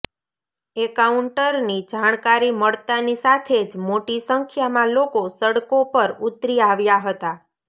એન્કાઉન્ટરની જાણકારી મળતાની સાથે જ મોટી સંખ્યામાં લોકો સડકો પર ઉતરી આવ્યા હતા